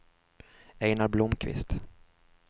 Einar Blomkvist